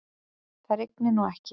Það rignir nú ekki.